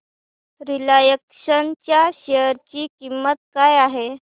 Reliance च्या share ची किंमत काय आहे